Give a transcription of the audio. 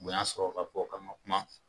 Bonya sɔrɔ ka bɔ k'an man kuma.